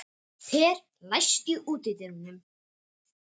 Per, læstu útidyrunum.